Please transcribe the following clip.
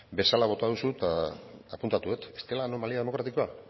bezala bota duzu eta apuntatu dut ez dela anomalia demokratikoa